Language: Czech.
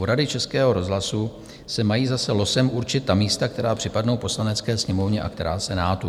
U Rady Českého rozhlasu se mají zase losem určit ta místa, která připadnou Poslanecké sněmovně a která Senátu.